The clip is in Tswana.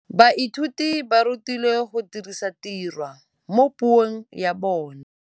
Baithuti ba rutilwe go dirisa tirwa mo puong ya bone.